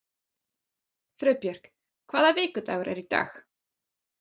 Friðbjörg, hvaða vikudagur er í dag?